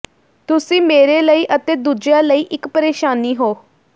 ਤੁਸੀਂ ਮੇਰੇ ਲਈ ਅਤੇ ਦੂਜਿਆਂ ਲਈ ਇੱਕ ਪਰੇਸ਼ਾਨੀ ਹੋ